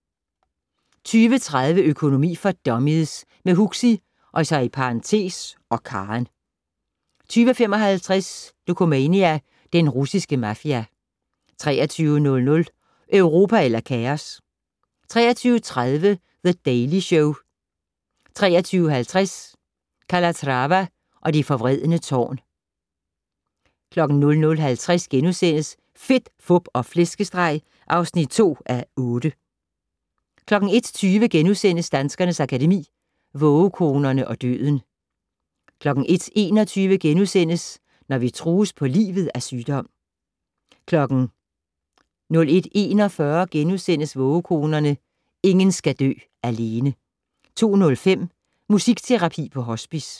20:30: Økonomi for dummies - med Huxi (og Karen) 20:55: Dokumania: Den russiske mafia 23:00: Europa eller kaos? 23:30: The Daily Show 23:50: Calatrava og det forvredne tårn 00:50: Fedt, Fup og Flæskesteg (2:8)* 01:20: Danskernes Akademi: Vågekonerne og døden * 01:21: Når vi trues på livet af sygdom * 01:41: Vågekonerne - ingen skal dø alene * 02:05: Musikterapi på hospice